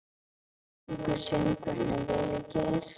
Sungu söngvararnir vel í gær?